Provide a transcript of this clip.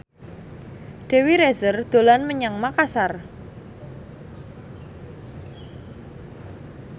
Dewi Rezer dolan menyang Makasar